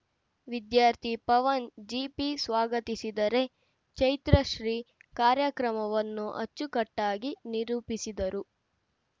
ವಿದ್ಯಾರ್ಥಿ Pavan G P ಸ್ವಾಗತಿಸಿದರೆ ಚೈತ್ರಶ್ರೀ ಕಾರ್ಯಕ್ರಮವನ್ನು ಅಚ್ಚುಕಟ್ಟಾಗಿ ನಿರೂಪಿಸಿದರು